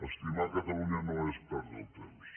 estimar catalunya no és perdre el temps